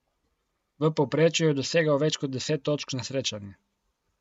V povprečju je dosegal več kot deset točk na srečanje.